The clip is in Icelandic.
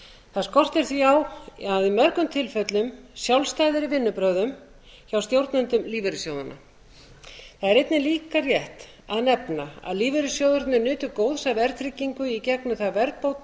það skortir því á að í mörgum tilfellum sjálfstæðari vinnubrögð hjá stjórnendum lífeyrissjóðanna það er einnig rétt að nefna að lífeyrissjóðirnir nutu góðs af verðtryggingu í gegnum það